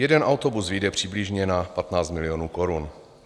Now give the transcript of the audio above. Jeden autobus vyjde přibližně na 15 milionů korun.